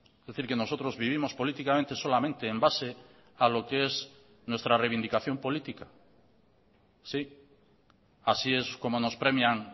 es decir que nosotros vivimos políticamente solamente en base a lo que es nuestra reivindicación política sí así es como nos premian